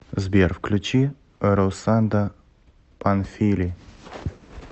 сбер включи русанда панфили